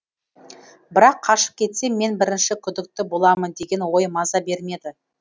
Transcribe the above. бірақ қашып кетсем мен бірінші күдікті боламын деген ой маза бермеді